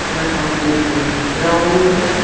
यहां पे एक ग्राउंड है।